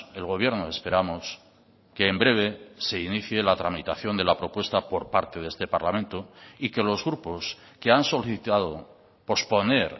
el gobierno esperamos que en breve se inicie la tramitación de la propuesta por parte de este parlamento y que los grupos que han solicitado posponer